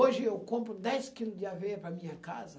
Hoje, eu compro dez quilo de aveia para a minha casa.